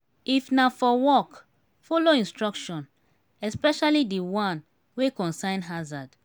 if na for work follow instruction especially di one wey concern harzard